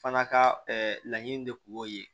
Fana ka laɲini de kun y'o ye